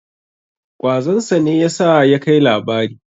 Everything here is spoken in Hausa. Ƙwazon sa ne ya sa ya kai labari.